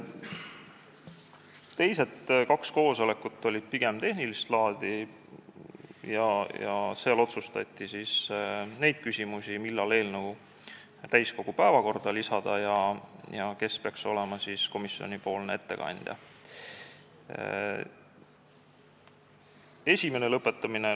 Teised kaks koosolekut olid pigem tehnilist laadi ja seal otsustati neid küsimusi, millal eelnõu täiskogu päevakorda saata ja kes peaks olema komisjoni ettekandja.